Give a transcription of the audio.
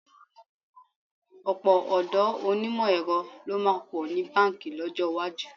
Ọ̀pọ̀ ọ̀dọ́ onímọ̀ ẹ̀rọ ló máa pọ̀ ní báǹkì lọ́jọ́ iwájú.